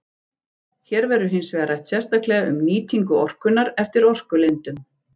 Hér verður hins vegar rætt sérstaklega um nýtingu orkunnar eftir orkulindum.